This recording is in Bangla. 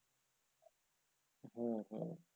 হু হুম।